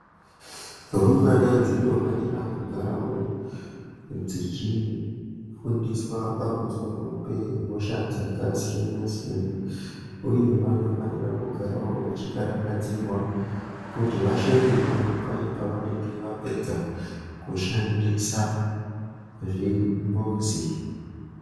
Rumbwana dzinofanira kugaravo dzichifundiswa pamusoro pehosha dzakasiyana-siyana, uye vanofanira kugaravo vachikarakadzirwa kuti vashambe nyara paye pavanenge vapedza kushandisa zvimbuzi.